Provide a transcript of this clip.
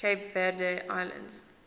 cape verde islands